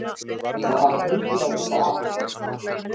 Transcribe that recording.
Það þarf enginn að vita af honum.